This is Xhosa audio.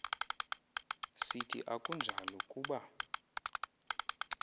sithi akunjalo kuba